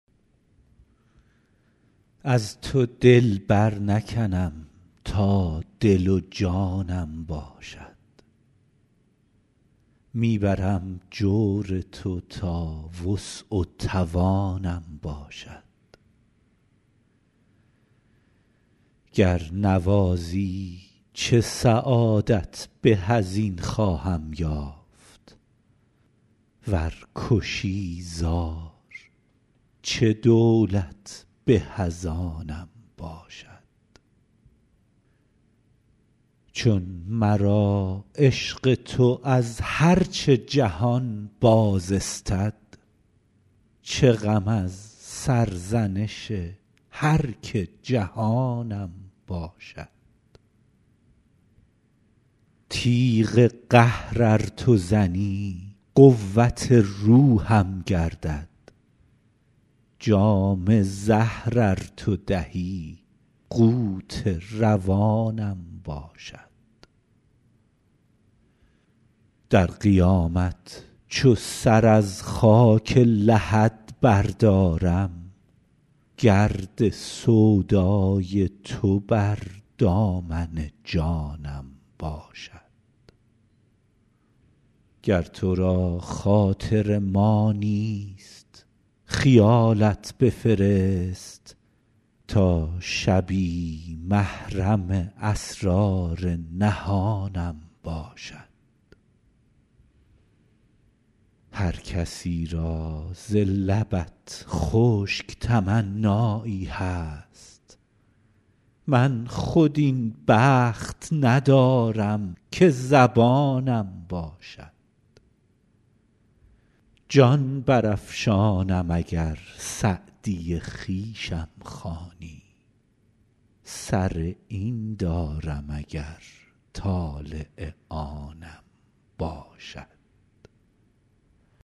از تو دل برنکنم تا دل و جانم باشد می برم جور تو تا وسع و توانم باشد گر نوازی چه سعادت به از این خواهم یافت ور کشی زار چه دولت به از آنم باشد چون مرا عشق تو از هر چه جهان باز استد چه غم از سرزنش هر که جهانم باشد تیغ قهر ار تو زنی قوت روحم گردد جام زهر ار تو دهی قوت روانم باشد در قیامت چو سر از خاک لحد بردارم گرد سودای تو بر دامن جانم باشد گر تو را خاطر ما نیست خیالت بفرست تا شبی محرم اسرار نهانم باشد هر کسی را ز لبت خشک تمنایی هست من خود این بخت ندارم که زبانم باشد جان برافشانم اگر سعدی خویشم خوانی سر این دارم اگر طالع آنم باشد